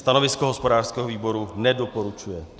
Stanovisko hospodářského výboru - nedoporučuje.